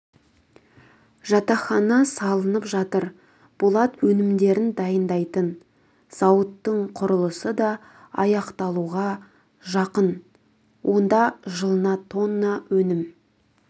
жатақхана салынып жатыр болат өнімдерін дайындайтын зауыттың құрылысы да аяқталуға жақын онда жылына тонна өнім